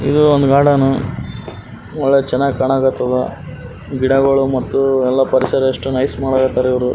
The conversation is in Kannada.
ಇದು ಒಂದು ಗಾರ್ಡನ್ ನೋಡೋಕ್ ಚೆನ್ನಾಗ್ ಕಾಣಕತ್ತಾದ ಗಿಡಗಳು ಮತ್ತು ಎಲ್ಲ ಪರಿಸರ ಎಷ್ಟು ನೈಸ್ ಮಾಡಕತ್ತಾರ ಇವರು.